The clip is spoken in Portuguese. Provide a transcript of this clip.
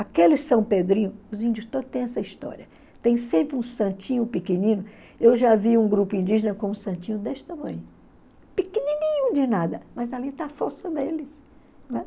Aquele São Pedrinho, os índios todos têm essa história, tem sempre um santinho pequenino, eu já vi um grupo indígena com um santinho desse tamanho, pequenininho de nada, mas ali está a força deles, né?